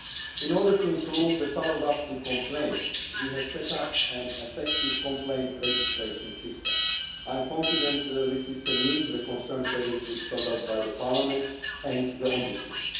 In order to improve the follow up to complaints, we have set up an effective complaint registration system. I am confident that the system meets the concerns previously spelled out by Parliament and the Ombudsman.